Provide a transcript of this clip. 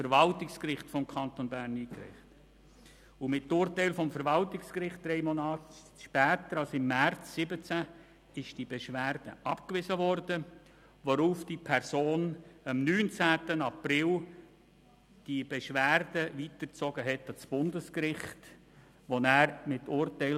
Mit Urteil vom März 2017 wies das Verwaltungsgericht diese Beschwerde drei Monat später ab, worauf diese Person am 19.04.2017 die Beschwerde an das Bundesgericht weiterzog.